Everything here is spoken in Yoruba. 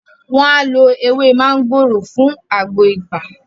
wọn á lo “ ewé máńgòrò” fún àgbo ibà.